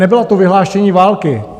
Nebylo to vyhlášení války.